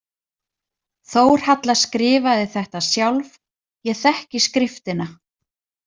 Þórhalla skrifaði þetta sjálf, ég þekki skriftina.